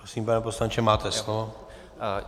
Prosím, pane poslanče, máte slovo.